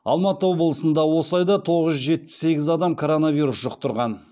алматы облысында осы айда тоғыз жүз жетпіс сегіз адам коронавирус жұқтырған